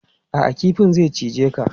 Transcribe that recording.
A'a, kifin zai cije ka.